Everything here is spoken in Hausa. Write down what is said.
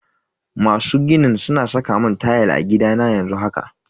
Masu ginin suna saka mun tayal a gidana yanzu haka.